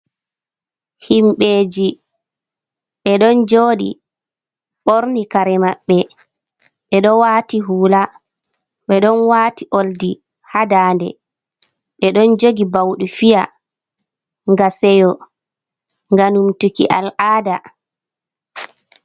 Himɓɓe ji ɓe ɗon joɗi ɓorni kare maɓɓe ɓe ɗon wati hula ɓe ɗon wati oldi ha dande ɓe ɗon jogi ɓaudi fiya gam seyo, gam numtuki al'ada.